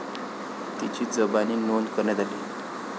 तिची जबानी नोंद करण्यात आली.